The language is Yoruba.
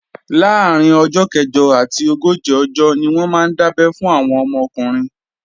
Láàrín ọjọ́ kẹ̀jọ àti ogójì ọjọ́ ni wọ́n máa ń dábé fún àwọn ọmọ ọkùnrin